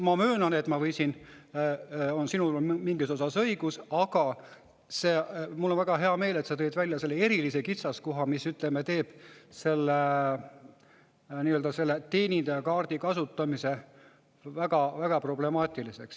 Ma möönan, et sinul on mingis osas õigus, ja mul on väga hea meel, et sa tõid välja selle erilise kitsaskoha, mis teeb selle teenindajakaardi kasutamise väga problemaatiliseks.